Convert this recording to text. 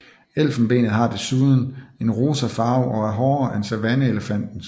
Elfenbenet har desuden en rosa farve og er hårdere end savanneelefantens